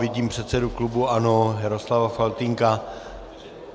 Vidím předsedu klubu ANO Jaroslava Faltýnka.